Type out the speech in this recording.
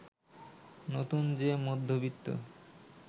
নতুন যে মধ্যবিত্ত